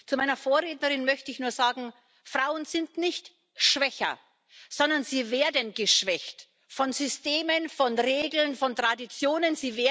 Zu meiner Vorrednerin möchte ich nur sagen Frauen sind nicht schwächer, sondern sie werden geschwächt von Systemen, von Regeln, von Traditionen.